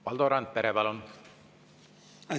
Valdo Randpere, palun!